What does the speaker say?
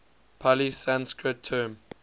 pali sanskrit term